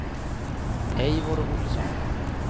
Eivor Ohlsson